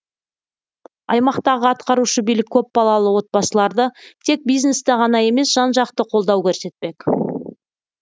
аймақтағы атқарушы билік көпбалалы отбасыларды тек бизнесте ғана емес жан жақты қолдау көрсетпек